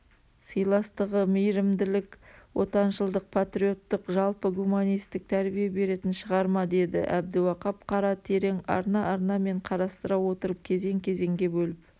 сыйластығы мейірімділік отаншылдық патриоттық жалпы гуманистік тәрбие беретін шығармадеді әбдіуақап қара терең арна-арнамен қарастыра отырып кезең-кезеңге бөліп